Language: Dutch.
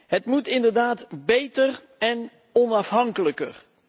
Het moet inderdaad beter en onafhankelijker.